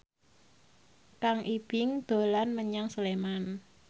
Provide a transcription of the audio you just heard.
Kang Ibing dolan menyang Sleman